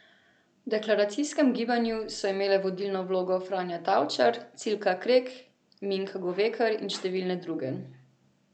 V deklaracijskem gibanju so imele vodilno vlogo Franja Tavčar, Cilka Krek, Minka Govekar in številne druge.